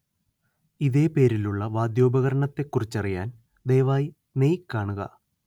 ഇതേ പേരിലുള്ള വാദ്യോപകരണത്തെക്കുറിച്ചറിയാൻ ദയവായി നെയ് കാണുക